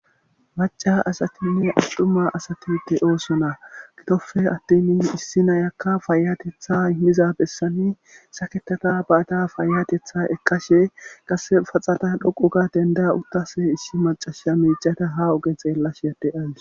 Maca asatinne addhuma asati de ooso na gitofe attini issi nayakka faayatetha himiza bessani saketata ba7ada faayatetha eqashe qase paxada dhoquga dendaya uttase issi macasha meicata ha oge xeellashede-aali